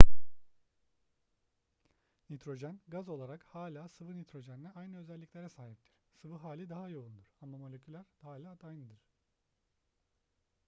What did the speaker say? nitrojen gaz olarak hala sıvı nitrojenle aynı özelliklere sahiptir sıvı hali daha yoğundur ama moleküller hala aynıdır